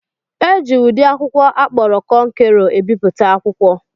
Eji ụdị akwụkwọ akpọrọ kọnkerọ ebipụta akwụkwọ.